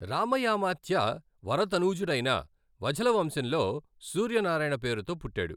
రామయామాత్య వరతనూజుడైన వఝల వంశంలో సూర్యనారాయణ పేరుతో పుట్టాడు.